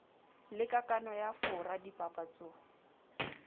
le kakano ya fora dipapatso